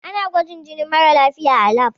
Ana gwajin jinin mara lafiya a lab.